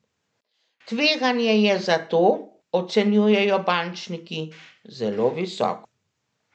Tveganje je zato, ocenjujejo bančniki, zelo visoko.